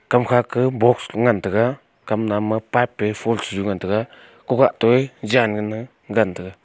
kam kha ka box ngan tega kam nam ma pipe pe fonsju ngan tega kokah toe jan nganla dan tega.